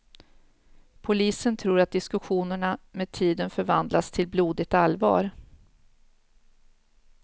Polisen tror att diskussionerna med tiden förvandlades till blodigt allvar.